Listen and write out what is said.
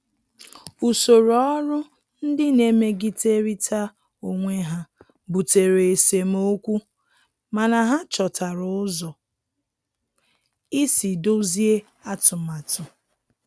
Usoro ọrụ ndị na-emegiderịta onwe ha butere esemokwu, mana ha chọtara ụzọ isi dọzie atụmatụ.